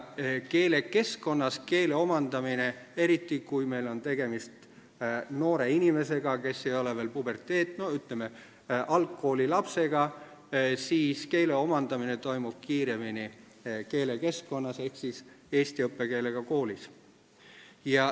Keele omandamine toimub kiiremini – eriti siis, kui meil on tegemist noore inimesega, kes ei ole veel puberteedieas, ütleme, algkoolilapsega – keelekeskkonnas ehk eesti õppekeelega koolis.